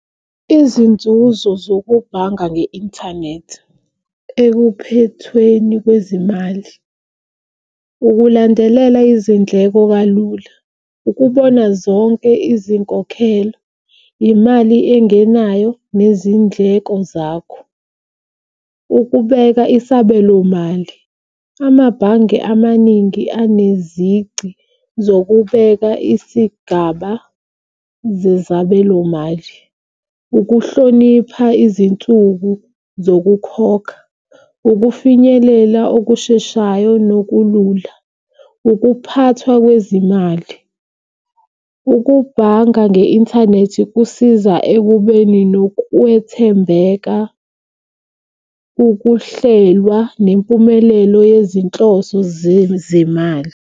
Izinzuzo zokubhanga nge-inthanethi ekuphethweni kwezimali ukulandelela izindleko kalula, ukubona zonke izinkokhelo, imali engenayo nezindleko zakho, ukubeka isabelomali. Amabhange amaningi enezici zokubeka isigaba zezabelo mali, ukuhlonipha izinsuku zokukhokha, ukufinyelela okusheshayo nokulula, ukuphathwa kwezimali. Ukubhanga nge-inthanethi kusiza ekubeni nokwethembeka, ukuhlelwa, nempumelelo yezinhloso zezimali.